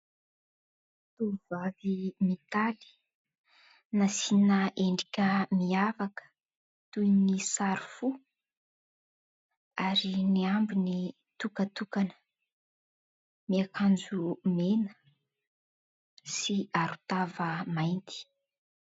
Tvovavy mitaly, nasiana endrika miavaka, toy ny sary fo ary ny ambiny tokatokana. Miakanjo mena sy aron-tava mainty.